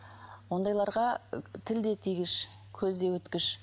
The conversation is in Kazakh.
ондайларға тіл де тигіш көзде өткіш